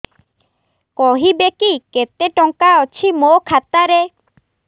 କହିବେକି କେତେ ଟଙ୍କା ଅଛି ମୋ ଖାତା ରେ